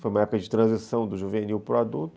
Foi uma época de transição do juvenil para o adulto.